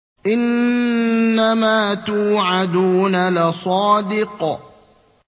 إِنَّمَا تُوعَدُونَ لَصَادِقٌ